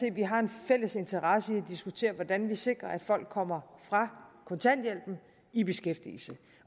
at vi har en fælles interesse i at diskutere hvordan vi sikrer at folk kommer fra kontanthjælpen i beskæftigelse